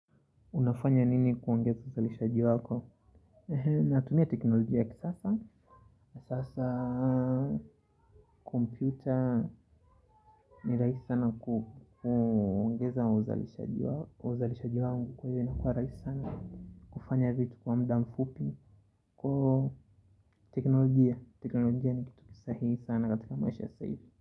Unafanya nini kuongeza uzalishaji wako? Natumia teknolojia ya kisasa. Sasa kompyuta ni rahisi sana kuongeza uzalishaji wangu. Kwa hio inakua rahisi sana. Kufanya vitu kwa muda mfupi. Kwa teknolojia. Teknolojia ni kitu kisahihi sana katika maisha ya sasa hivi.